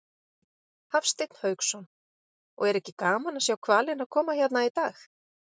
Hafsteinn Hauksson: Og er ekki gaman að sjá hvalina koma hérna í dag?